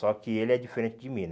Só que ele é diferente de mim, né?